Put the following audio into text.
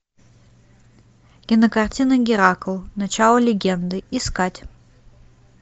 кинокартина геракл начало легенды искать